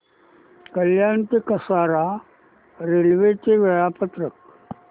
कल्याण ते कसारा रेल्वे चे वेळापत्रक